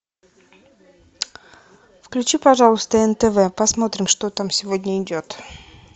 включи пожалуйста нтв посмотрим что там сегодня идет